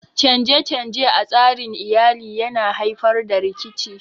Canje-canje a tsarin Iyali yana haifar da rikici